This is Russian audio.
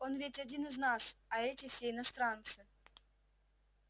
он ведь один из нас а эти все иностранцы